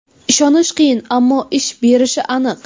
Ishonish qiyin, ammo ish berishi aniq.